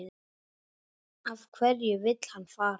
Af hverju vill hann fara?